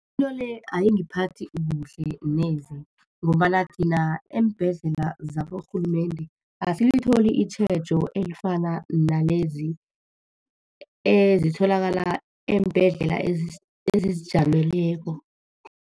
Into le ayingiphathi kuhle neze, ngombana thina eembhedlela zaborhulumende, asilitholi itjhejo elifana nalezi ezitholakala eembhedlela ezizijameleko.